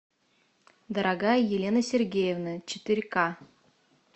дорогая елена сергеевна четыре к